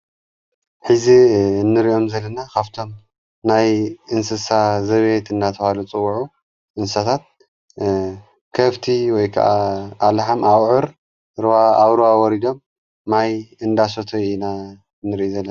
ኂዚ እንርእዮም ዘለና ኻፍቶም ናይ እንስሳ ዘቤየት እናተዋሉ ጽውዑ እንሳታት ከፍቲ ወይ ከዓ ኣለሓም ኣብዑር ርዋ ኣውሩ ኣወሪዶም ማይ እንዳሰተይ ኢና እንርኢ ዘለና።